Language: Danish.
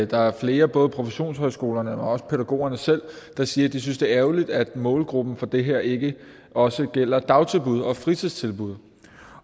der er flere både professionshøjskolerne men også pædagogerne selv der siger at de synes det er ærgerligt at målgruppen for det her ikke også gælder dagtilbud og fritidstilbud